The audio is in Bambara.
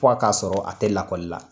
Fɔ a k'a sɔrɔ a tɛ lakɔli la.